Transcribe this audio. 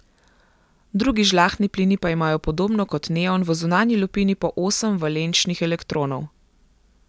Drugi žlahtni plini pa imajo podobno kot neon v zunanji lupini po osem valenčnih elektronov.